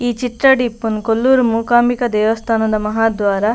ಈ ಚಿತ್ರಡ್ ಇಪ್ಪುನು ಕೊಲ್ಲೂರು ಮೂಕಾಂಬಿಕ ದೇವಸ್ಥಾನದ ಮಹಾದ್ವಾರ.